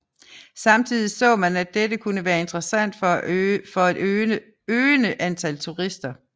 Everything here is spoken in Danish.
Samtidig så man at dette kunne være interessant for et øgende antal turister